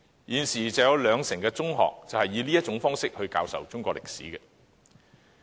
現時有兩成中學以這種方式教授中史。